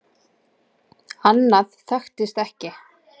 Annað þekktist ekki.